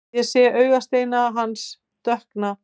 Ég sé augasteina hans dökkna.